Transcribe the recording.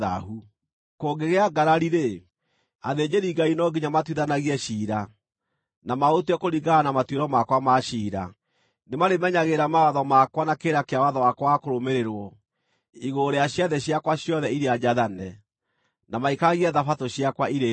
“ ‘Kũngĩgĩa ngarari-rĩ, athĩnjĩri-Ngai no nginya matuithanagie ciira, na maũtue kũringana na matuĩro makwa ma ciira. Nĩmarĩmenyagĩrĩra mawatho makwa na kĩrĩra kĩa watho wakwa wa kũrũmĩrĩrwo igũrũ rĩa ciathĩ ciakwa ciothe iria njathane, na maikaragie Thabatũ ciakwa irĩ theru.